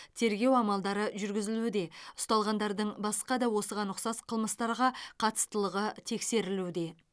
тергеу амалдары жүргізілуде ұсталғандардың басқа да осыған ұқсас қылмыстарға қатыстылығы тексерілуде